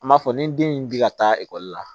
An b'a fɔ ni den in bi ka taa ekɔli la